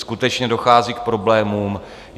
Skutečně dochází k problémům.